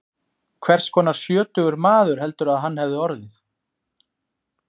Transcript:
Hvers konar sjötugur maður heldurðu að hann hefði orðið?